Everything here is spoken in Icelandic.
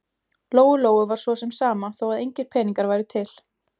Lóu-Lóu var svo sem sama þó að engir peningar væru til.